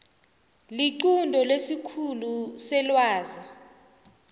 liqunto lesikhulu selwazi